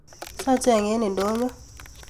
Sacheng en idonyo